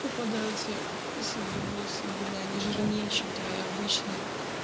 попадаются седые волосы блин они жирнее чем твои обычные